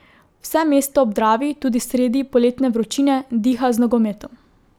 Vse mesto ob Dravi tudi sredi poletne vročine diha z nogometom.